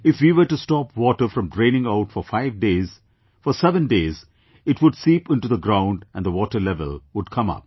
If we were to stop water from draining out for five days, for seven days, it would seep into the ground and the water level would come up